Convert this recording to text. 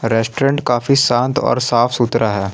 Restaurant काफी शांत और साफ सुथरा है।